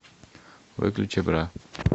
выключи бра